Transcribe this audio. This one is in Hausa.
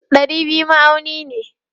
Dari biyu ma'auni ne.